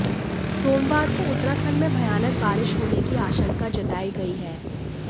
सोमवार को उत्तराखंड में भयानक बारिश होने की आशंका जताई गई है